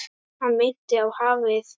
Hann minnti á hafið.